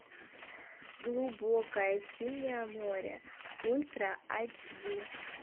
глубокое синее море ультра эйч ди